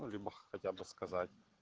ну либо хотя бы сказать